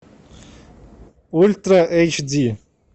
ультра эйч ди